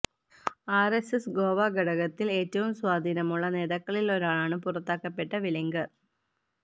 RSS Goa ഘടകത്തില് ഏറ്റവും സ്വാധീനമുള്ള നേതാക്കളില് ഒരാളാണ് പുറത്താക്കപ്പെട്ട വെലിങ്ഗര്